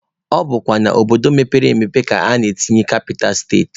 Ọ bụkwa n'obodo mepere emepe ka a na-etinye kapital steti.